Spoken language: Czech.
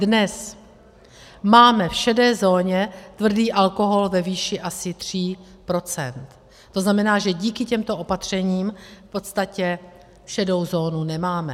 Dnes máme v šedé zóně tvrdý alkohol ve výši asi 3 %, to znamená, že díky těmto opatřením v podstatě šedou zónu nemáme.